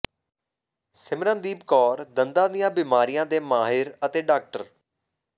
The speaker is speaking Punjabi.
ਸਿਮਰਨਦੀਪ ਕੌਰ ਦੰਦਾਂ ਦੀਆਂ ਬਿਮਾਰੀਆਂ ਦੇ ਮਾਹਿਰ ਅਤੇ ਡਾ